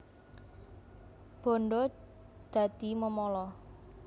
Bandha dadi memala